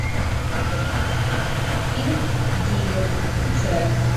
фильм дилер включай